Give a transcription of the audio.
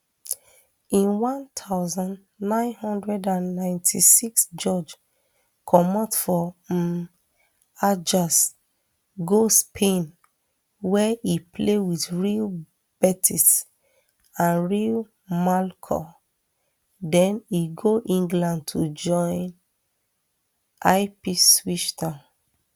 in one thousand, nine hundred and ninety-six george comot for um ajax go spain wia e play wit real betis and real mallorca den e go england to join ipswich town